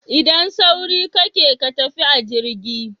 Idan sauri kake ka tafi a jirgi